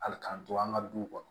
Hali k'an to an ka du kɔnɔ